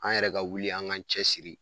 An yɛrɛ ka wuli an ga cɛsiri